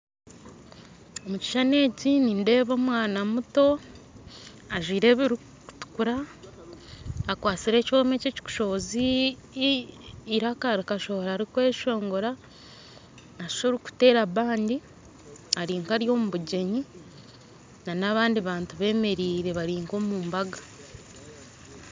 Omukishushani eki nindeeba omwaana muto ajwaire ebirukutukura akwatsire ekyoma eki ekikushohoza iraka rikashohora rikweshongora nashusha orukutera band arinka ari omubugyenyi n'abandi bantu bemereire barinka omu mbaga.